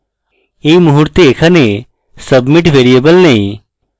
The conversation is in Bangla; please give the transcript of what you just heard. এই মুহুর্তে এখানে submit ভ্যারিয়েবল নেই